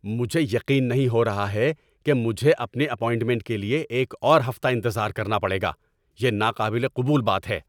مجھے یقین نہیں ہو رہا ہے کہ مجھے اپنی اپائنٹمنٹ کے لیے ایک اور ہفتہ انتظار کرنا پڑے گا۔ یہ ناقابل قبول بات ہے۔